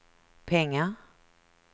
pengar